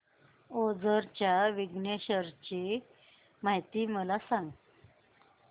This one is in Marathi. ओझर च्या विघ्नेश्वर ची महती मला सांग